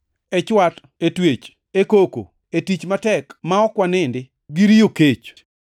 e chwat, e twech, e koko, e tich matek ma ok wanindi, gi riyo kech;